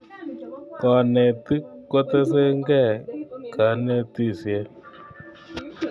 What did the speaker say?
kanetik kotesei enge kanetisiet